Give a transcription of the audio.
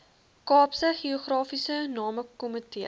kaapse geografiese namekomitee